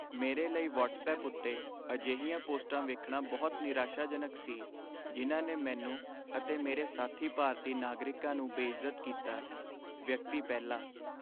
ਮੇਰੇ ਲਈ ਵਟਸਐਪ ਉੱਤੇ ਅਜਿਹੀਆਂ ਪੋਸਟਾਂ ਵੇਖਣਾ ਬਹੁਤ ਨਿਰਾਸ਼ਾਜਨਕ ਸੀ ਜਿਨ੍ਹਾਂ ਨੇ ਮੈਨੂੰ ਅਤੇ ਮੇਰੇ ਸਾਥੀ ਭਾਰਤੀ ਨਾਗਰਿਕਾਂ ਨੂੰ ਬੇਇੱਜ਼ਤ ਕੀਤਾ ਵਿਅਕਤੀ ਪਹਿਲਾ